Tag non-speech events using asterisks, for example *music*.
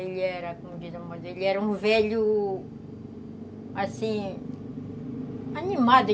Ele era, como diz a *unintelligible* mãe, ele era um velho, assim, animado.